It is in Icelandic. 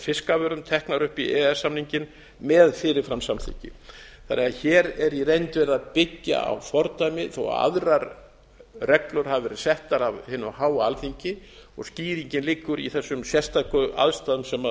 fiskafurðum teknar upp í e e s samninginn með fyrirfram samþykki þannig að hér er í reynd verið að byggja á fordæmi þó aðrar reglur hafi verið settar af hinu háa alþingi og skýringin liggur í þessum sérstöku aðstæðum sem